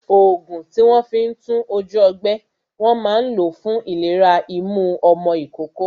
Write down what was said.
Ògùn tí wón fi ń tún ojú ọgbẹ́, wọn máa ń lo fún ìlera imú ọmọ ìkókó